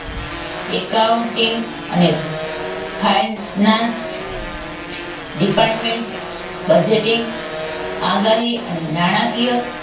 accounting finance department budgeting આગાહી અને નાણાકીય